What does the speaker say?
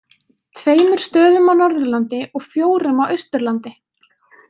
Tveimur stöðum á Norðurlandi og fjórum á Austurlandi.